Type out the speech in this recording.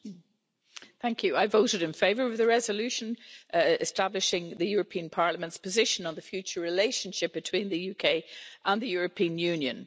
Madam President, I voted in favour of the resolution establishing the European Parliament's position on the future relationship between the UK and the European Union.